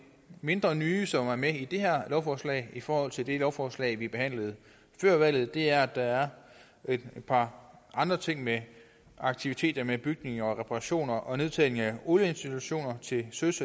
mindre nye som er med i det her lovforslag i forhold til det lovforslag vi behandlede før valget er at der er et par andre ting med aktiviteter med bygninger og reparationer og nedtagning af olieinstallationer til søs